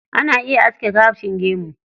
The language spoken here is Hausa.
Ana iya aske gashin gemu.